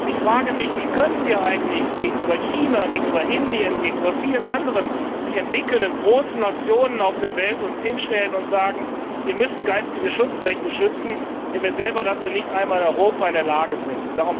Ich frage mich Wie können wir uns eigentlich gegenüber China, gegenüber Indien, gegenüber vielen anderen sich entwickelnden großen Nationen auf der Welt hinstellen und sagen Ihr müsst geistige Schutzrechte schützen, wenn wir selber dazu nicht einmal in Europa in der Lage